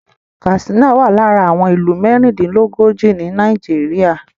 Katsina wà lára àwọn ìlú mẹ́rìndínlógójì ni Nàìjíríà